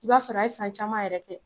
I b'a sɔrɔ e ye san caman yɛrɛ kɛ